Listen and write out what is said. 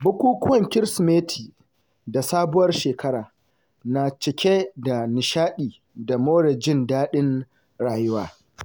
Bukukuwan Kirsimeti da Sabuwar Shekara na cike da nishaɗi da more jin daɗin rayuwa.